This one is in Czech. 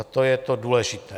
A to je to důležité.